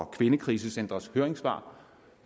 kvindekrisecentres høringssvar